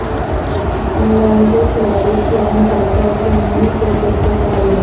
England کے کھلاڑی Kevin Pietersen نے کرکٹ کو کہا الوداع